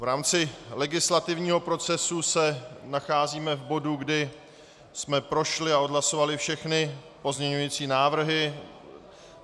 V rámci legislativního procesu se nacházíme v bodu, kdy jsme prošli a odhlasovali všechny pozměňující návrhy.